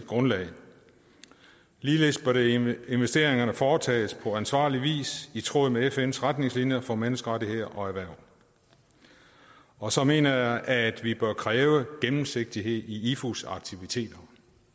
grundlag ligeledes bør investeringerne foretages på ansvarlig vis i tråd med fns retningslinjer for menneskerettigheder og erhverv og så mener jeg at vi bør kræve gennemsigtighed i ifus aktiviteter